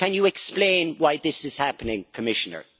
Can you explain why this is happening, Commissioner?